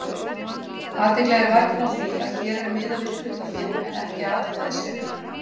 Athygli er vakin á því að hér er miðað við hlutafé en ekki atkvæðisrétt.